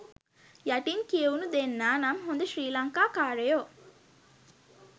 යටින් කියවුනු දෙන්නා නම් හොඳ ශ්‍රී ලංකා කාරයෝ.